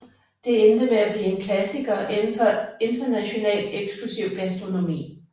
Det endte med at blive en klassiker inden for international eksklusiv gastronomi